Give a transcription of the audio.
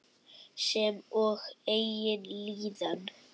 Sem og eigin líðan.